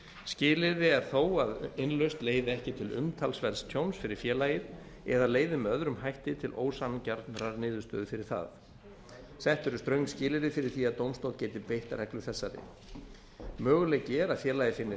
skilyrði er þó að innlausn leiði ekki til umtalsverðs tjóns fyrir félagið eða leiði með öðrum hætti til ósanngjarnrar niðurstöðu fyrir það þetta eru þröng skilyrði fyrir því að dómstóll geti beitt reglu þessari möguleiki er að félagið sé með